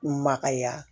Maka ya